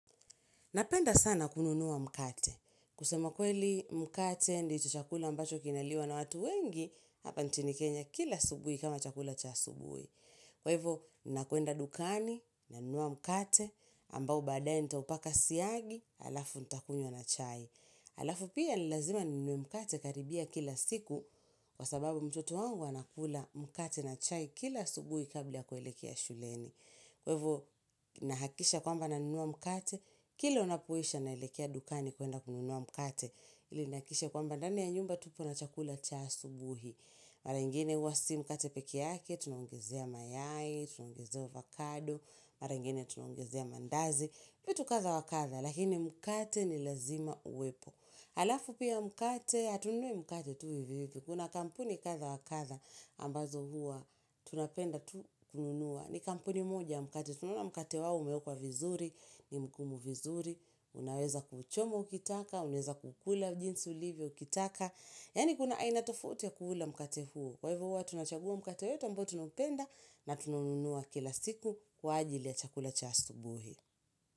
Napenda sana kununua mkate. Kusema kweli mkate ndicho chakula mbacho kinaliwa na watu wengi, hapa nchini kenya kila asubui kama chakula cha asubuhi. Kwa hivo, nakwenda dukani, nunua mkate, ambao baadaye nitaupaka siagi, alafu nitakunywa na chai. Alafu pia ni lazima ninunue mkate karibu kila siku, kwa sababu mtoto wangu anakula mkate na chai kila asubuhi kabla kuelekea shuleni. Kwa hivo, nahakisha kwamba nunua mkate, Kila unapoisha naelekea dukani kwenda kununua mkate ili nihakikishe kwamba ndani ya nyumba tupo na chakula cha asubuhi Mara ingine huwa si mkate peke yake, tunaongezea mayai, tunaongezea avakado Mara ingine tunaongezea mandazi Pia tu kadha wakadha, lakini mkate ni lazima uwepo alafu pia mkate, hatununui mkate tu hivi hivi Kuna kampuni kadha wakadha ambazo huwa, tunapenda tu kununua ni kampuni moja ya mkate, tunaona mkate wao umeekwa vizuri ni mgumu vizuri Unaweza kuchomwa ukitaka Unaweza kukula jinsi ulivyo kitaka Yaani kuna aina tofauti ya kuula mkate huo Kwa hivo huwa tunachagua mkate wetu ambao tunaupenda na tunaununua kila siku Kwa ajili ya chakula cha asubuhi.